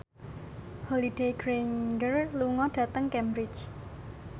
Holliday Grainger lunga dhateng Cambridge